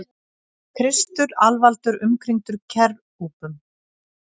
Kristur alvaldur umkringdur kerúbum.